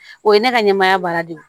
O ye ne ka ɲɛmɔgɔya baara de ye